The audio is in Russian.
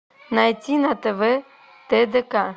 найти на тв тдк